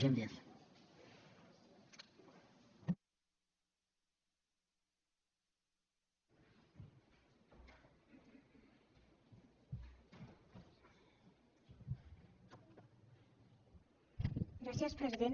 gràcies president